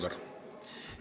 Vabandust!